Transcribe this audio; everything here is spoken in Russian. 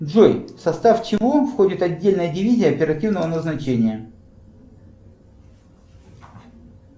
джой в состав чего входит отдельная дивизия оперативного назначения